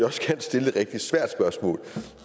også gerne stille et rigtig svært spørgsmål